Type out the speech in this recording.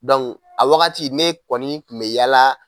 Dɔnku a wagati ne kɔni kun me yaala